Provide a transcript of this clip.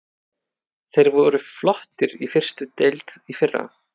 Þeir voru flottir í fyrstu deild í fyrra.